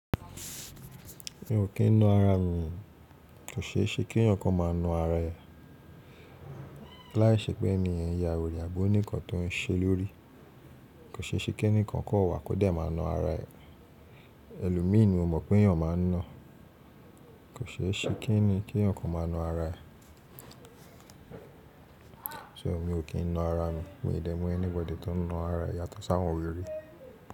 Mi ò kín na ara mi, kò ṣe é ṣe kí ẹeyan kan má a na ara ẹ̀. Láìṣẹ́ pé ni ẹniyen ya were abi o nì nkan tó ń ṣe lórí. Kò ṣe é ṣe kí ẹnìkan kan wà kódẹ̀ má na ara ẹ̀. Ẹlomìí ni mo mọ̀ pé ẹ̀eyàn ma ń na. Kò ṣe é ṣe kí eni kí eeyan kan má a na ara ẹ̀. So, mi ò kín na ara mi? Mi ò dé mọ anybody tí ó ń na ara, yàtọ̀ sáwọn were.